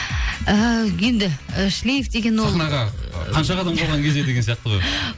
ііі енді і шлиф деген ол сахнаға қанша қадам қалған кезде деген сияқты ғой